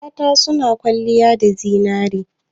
Mata suna kwalliya da zinare.